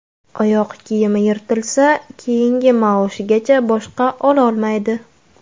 Oyoq kiyimi yirtilsa, keyingi maoshigacha boshqa ololmaydi.